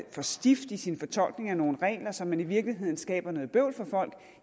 for stift i sin fortolkning af nogle regler så man i virkeligheden skaber noget bøvl for folk